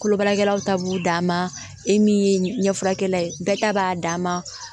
Kolo baarakɛlaw ta b'u dan ma e min ye ɲɛfurakɛla ye bɛɛ ta b'a dama